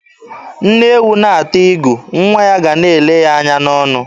Nne ewu na-ata igu, nwa ya ga a na-ele ya anya n'ọnụ.